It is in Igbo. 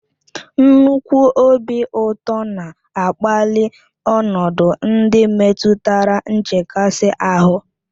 Nnukwu obi ụtọ na-akpali ọnọdụ ndị metụtara nchekasị ahụ